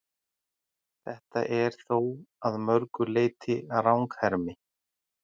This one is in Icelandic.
Þetta er þó að mörgu leyti ranghermi.